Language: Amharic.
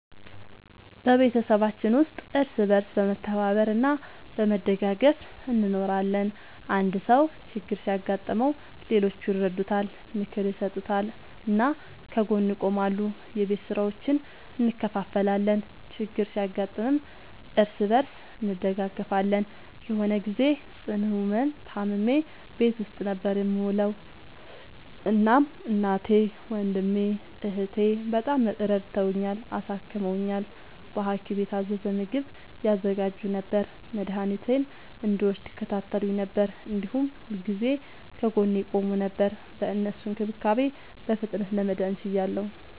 በቤተሰባችን ውስጥ እርስ በርስ በመተባበር እና በመደጋገፍ እንኖራለን። አንድ ሰው ችግር ሲያጋጥመው ሌሎቹ ይረዱታል፣ ምክር ይሰጡታል እና ከጎኑ ይቆማሉ። የቤት ስራዎችን እንከፋፈላለን፣ ችግር ሲያጋጥምም እርስ በርስ እንደጋገፋለን። የሆነ ግዜ ጽኑ ህመም ታምሜ ቤት ውስጥ ነበር የምዉለዉ። እናም እናቴ፣ ወንድሜ፣ እህቴ፣ በጣም ረድተዉኛል፣ አሳክመዉኛል። በሀኪም የታዘዘ ምግብ ያዘጋጁ ነበር፣ መድኃኒቴን እንድወስድ ይከታተሉኝ ነበር፣ እንዲሁም ሁልጊዜ ከጎኔ ይቆሙ ነበር። በእነሱ እንክብካቤ በፍጥነት ለመዳን ችያለሁ።